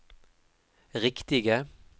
riktige